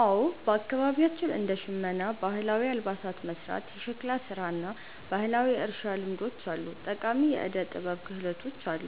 አዎ፣ በአካባቢያችን እንደ ሸመና (ባህላዊ አልባሳትን መሥራት)፣ የሸክላ ሥራ እና ባህላዊ የእርሻ ልምዶች ያሉ ጠቃሚ የዕደ-ጥበብ ክህሎቶች አሉ።